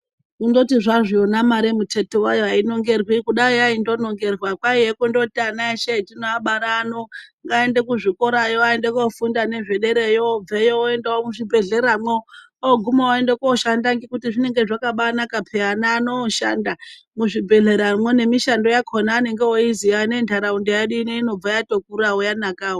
Kundoti zvazvona mare muteti wayo ainongerwi ,kudai yaindonongerwa kwaiye kundoti ana eshe etinobara ano ngaaende kuzvikorayo aende kofundawo nezve derayo obveyo oende muzvibhehlera mwo oguma oende koshanda ngekuti zvinenge zvakabanaka peya ana ano oshanda muzvibhehlera mwo nemishando yakona anonga oiziya nenharaunda yedu ino inobva yatokura yanakawo.